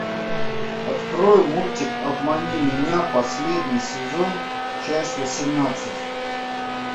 открой мультик обмани меня последний сезон часть восемнадцать